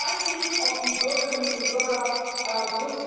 Ich weiß nicht, ob die Bürgerinnen und Bürger